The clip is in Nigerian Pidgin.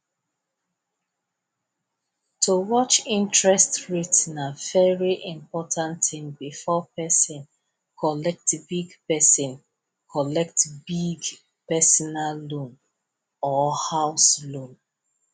to watch interest rate na very important thing before person collect big person collect big personal loan or house loan